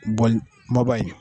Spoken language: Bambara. Bɔli kumaba in